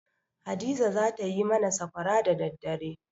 Hadiza za ta yi mana sakwara da daddare.